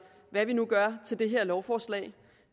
hvad vi nu gør til det her lovforslag